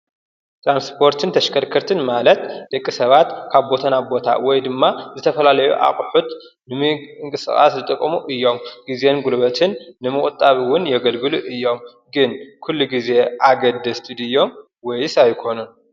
ጥራንስጶርትን ተሽከርክርትን ማለት ድቂ ሰባት ካብ ቦተና ቦታ ወይ ድማ ዝተፈላለዩ ኣቕሑት ንሚንክሥቓት ዝጥቕሙ እዮም ጊዜንጕሉበትን ንምቝጣቢውን የገልግሉ እዮም ግን ኲሉ ጊዜ ኣገደ ስቲድዮም ወይስ ኣይኮኑን?